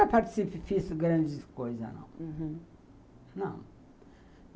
Ah, eu nunca fiz grandes coisas, não. Uhum. Não!